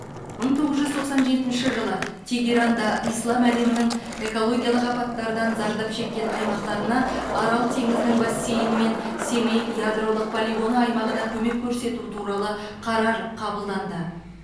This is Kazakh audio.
мың тоғыз жүз тоқсан жетінші жылы тегеранда ислам әлемінің экологиялық апаттардан зардап шеккен аймақтарына арал теңізінің бассейні мен семей ядролық полигоны аймағына көмек көрсету туралы қарар қабылданды